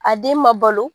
A den ma balo